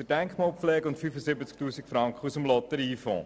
Anteil Denkmalpflege und 75 000 Franken als Beitrag aus dem Lotteriefonds.